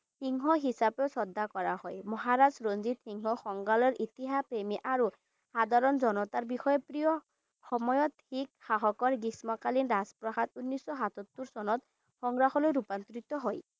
সিংহ হিচাপে শ্ৰদ্ধা কৰা হয় মহাৰাজ ৰঞ্জিত সিংহ সংগ্ৰাহলয় ইতিহাস প্ৰেমী আৰু সাধাৰণ জনতা বিষয়ে প্ৰিয় সময়ত শিখ সাহসৰ গ্ৰীষ্মকালীন ৰাজপ্ৰখাদ ঊনশ সাতসত্তৰ চনত সংগ্ৰাহলয়লৈ ৰূপান্তৰিত কৰা হয়।